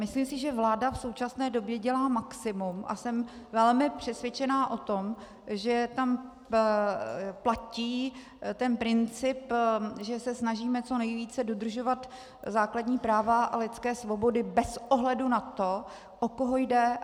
Myslím si, že vláda v současné době dělá maximum, a jsem velmi přesvědčena o tom, že tam platí ten princip, že se snažíme co nejvíce dodržovat základní práva a lidské svobody bez ohledu na to, o koho jde.